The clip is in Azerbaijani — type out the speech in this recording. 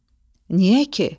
Niyə ki?